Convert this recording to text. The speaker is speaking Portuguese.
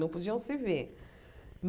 Não podiam se ver.